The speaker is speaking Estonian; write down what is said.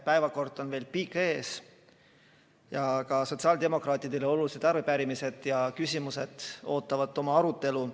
Päevakord on veel pikk ees ja ka sotsiaaldemokraatidele olulised arupärimised ja küsimused ootavad oma arutelu.